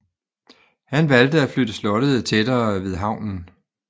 Han valgte at flytte slottet tættere ved havnen